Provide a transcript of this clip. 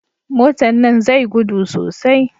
Motan nan zai gudu sosai